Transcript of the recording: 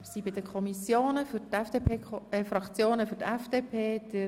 Es kommen nun die Fraktionen an die Reihe.